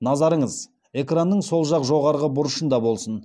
назарыңыз экранның сол жақ жоғарғы бұрышында болсын